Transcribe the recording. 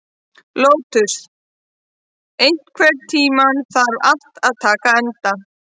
Lótus, einhvern tímann þarf allt að taka enda.